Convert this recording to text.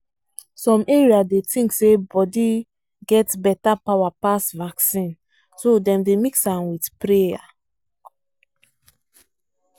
some area dey think say body get better power pass vaccine so dem dey mix am with prayer.